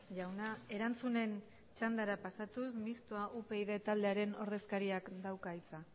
jauna erantzunen txandara pasatuz mistoa upyd taldearen ordezkariak dauka hitza